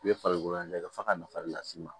I bɛ farikolo in lajɛ f'a ka nafa le las'i ma